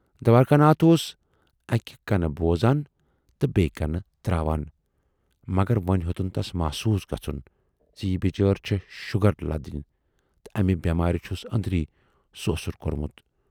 دوارِکا ناتھ اوس اکہِ کَنہٕ بوزان تہٕ بییہِ کَنہٕ تراوان، مگر وۅنۍ ہیوتُن تَس محسوٗس گَژھُن زِ یہِ بِچٲرۍ چھِ شوٗگر لٔدٕنۍ تہٕ اَمہِ بٮ۪مارِ چھُس ٲندرۍ سۅسُر کورمُت۔